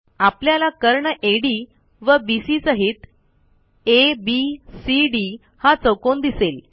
आपल्याला कर्ण अड व बीसी सहित एबीडीसी हा चौकोन दिसेल